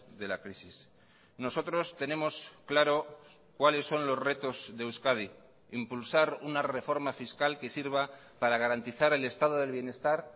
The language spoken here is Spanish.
de la crisis nosotros tenemos claro cuáles son los retos de euskadi impulsar una reforma fiscal que sirva para garantizar el estado del bienestar